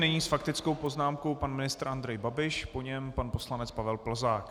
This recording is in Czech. Nyní s faktickou poznámkou pan ministr Andrej Babiš, po něm pan poslanec Pavel Plzák.